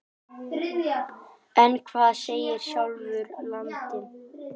En hvað segir sjálfur landinn?